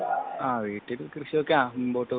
ആ വീട്ടിൽ കൃഷിയൊക്കെ മുമ്പോട്ടു പോവുന്നു